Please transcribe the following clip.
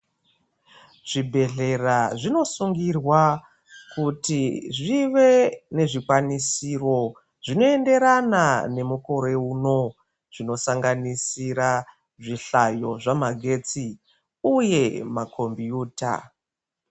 Zvibhehlera zvinosungirwa kuti zvive nezvikwanisiro zvinoenderana nemukore uno zvinosanganisira zvihlyayo zvamagetsi uye makombiyuta.